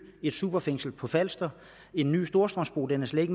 et superfængsel på falster en ny storstrømsbro den er slet